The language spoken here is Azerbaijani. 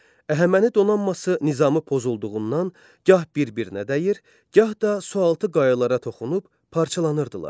Əhəməni donanması nizamı pozulduğundan gah bir-birinə dəyir, gah da sualtı qayalara toxunub parçalanırdılar.